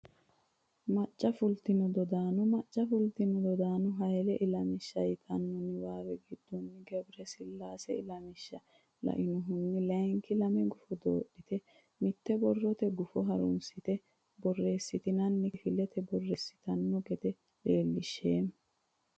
macca fultino dodaano Macca fultino dodaano Hayle ilamishsha yitanno niwaawe giddonni Gebresillaase ilamishsha lainohunni layinki lame gufo doodhite mitte borrote gufo gufo haransitine borreessitine kifilete borreessitanno gede leellishsheemmo.